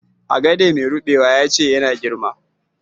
Agade mai rubewa ya ce ya na girma.